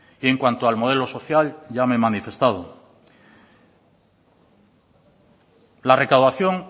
y en cuanto al modelo social ya me he manifestado la recaudación